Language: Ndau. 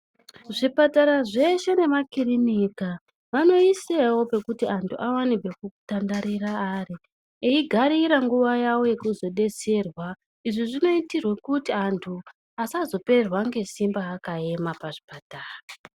Zvipatara zveshe nemakirinika, vanoisewo pekuti anthu awane pekutandarira ari. Eigarira nguva yavo yekuzodetserwa. Izvi zvinoitirwe kuti anthu asazopererwa ngesimba akaema pazvipatara.